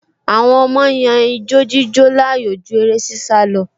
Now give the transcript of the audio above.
Àwọn ọmọ yan ijo-jíjó láàyò ju eré-sísá lọ